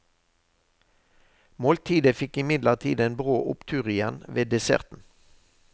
Måltidet fikk imidlertid en brå opptur igjen ved desserten.